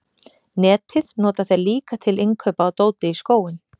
Netið nota þeir líka til innkaupa á dóti í skóinn.